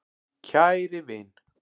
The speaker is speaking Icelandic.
KÆRI vin.